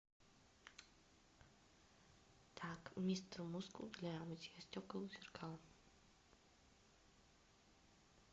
так мистер мускул для мытья стекол и зеркал